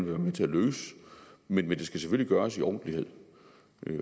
være med til at løse men det skal selvfølgelig gøres i ordentlighed